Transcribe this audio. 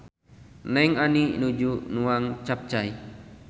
Neng Ani nuju nuang capcay